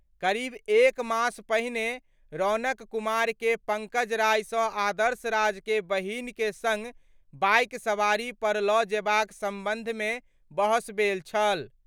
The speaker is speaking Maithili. करीब एक मास पहिने रौनक कुमार के पंकज राय सं आदर्श राज के बहिन के संग बाइक सवारी पर ल' जेबाक संबंध मे बहस भेल छल।